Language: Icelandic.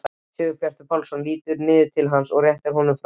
Sigurbjartur Pálsson lítur niður til hans og réttir fram lúku.